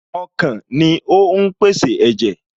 Ọkàn ni ó ń pèsè ẹ̀jẹ̀